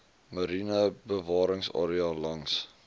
mariene bewaringsarea langs